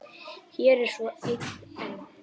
Hér er svo ein enn.